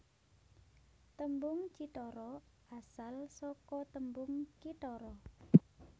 Tembung cithara asal saka tembung kithara